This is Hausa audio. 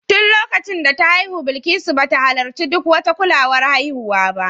Tun lokacin da ta haihu Bilikisu ba ta halarci duk wata kulawar haihuwa ba